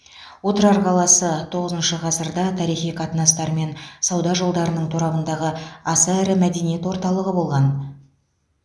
отырар қаласы тоғызыншы ғасырда тарихи қатынастар мен сауда жолдарының торабындағы аса ірі мәдениет орталығы болған